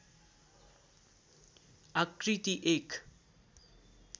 आकृति एक